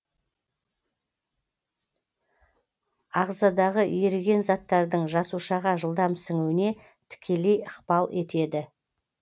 ағзадағы еріген заттардың жасушаға жылдам сіңуіне тікелей ықпал етеді